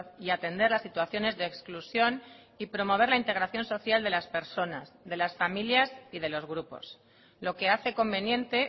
y atender las situaciones de exclusión y promover la integración social de las personas de las familias y de los grupos lo que hace conveniente